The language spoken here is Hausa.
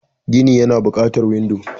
Gini Yana buƙatar windo.